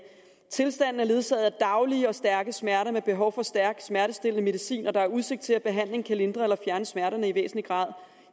tilstanden er ledsaget af daglige og stærke smerter med behov for stærk smertestillende medicin og der er udsigt til at behandling kan lindre eller fjerne smerterne i væsentlig grad